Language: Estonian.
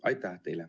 Aitäh!